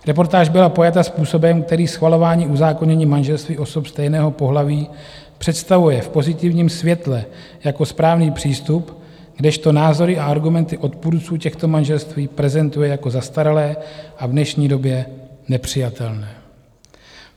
Reportáž byla pojata způsobem, který schvalování uzákonění manželství osob stejného pohlaví představuje v pozitivním světle jako správný přístup, kdežto názory a argumenty odpůrců těchto manželství prezentuje jako zastaralé a v dnešní době nepřijatelné.